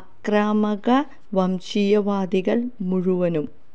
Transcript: ആക്രാമക വംശീയവാദികള് മുഴുവനും